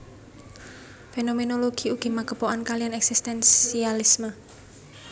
Fénoménologi ugi magepokan kaliyan èksistènsialisme